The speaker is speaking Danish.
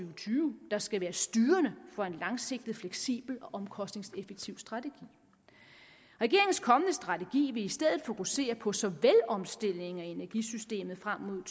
og tyve der skal være styrende for en langsigtet fleksibel og omkostningseffektiv strategi regeringens kommende strategi vil i stedet fokusere på så vel omstillingen af energisystemet frem mod